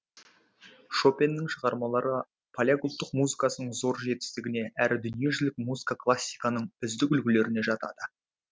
шопеннің шығармалары поляк ұлттық музыкасының зор жетістігіне әрі дүниежүзілік музыка классиканың үздік үлгілеріне жатады